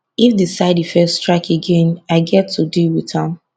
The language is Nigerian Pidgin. if di side effects strike again i get to deal with am